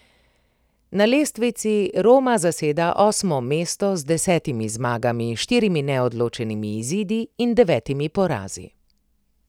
Na lestvici Roma zaseda osmo mesto z desetimi zmagami, štirimi neodločenimi izidi in devetimi porazi.